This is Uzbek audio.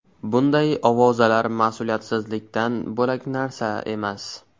Bunday ovozalar mas’uliyatsizlikdan bo‘lak narsa emas.